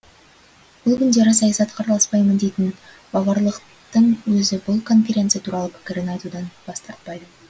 бұл күндері саясатқа араласпаймын дейтін баварлықтың өзі бұл конференция туралы пікірін айтудан бас тартпайды